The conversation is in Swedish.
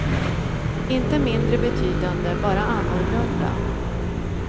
Inte mindre betydande, bara annorlunda.